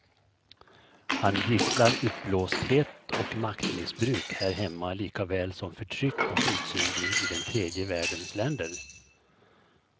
Han gisslar uppblåsthet och maktmissbruk här hemma likaväl som förtryck och utsugning i den tredje världens länder.